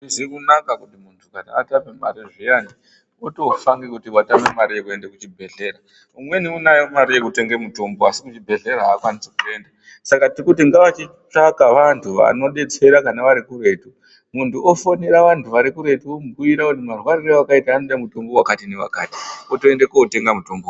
Azvizi kunaka kuti kana muntu atame mari zviyani, otofa ngekuti watama mari yekuenda kuchibhedhlera, umweni unayo mari yekotenga mutombo, asi kuchibhedhlera akwanisi kuenda, saka tiri kuti ngava chitsvaka vantu vanodetsera kana varikuretu, muntu ofonera vantu vari kuretu, vomubhiyira kuti marwarire awakayita anoda mutombo wakati newakati ,otoenda kotenga mutombo .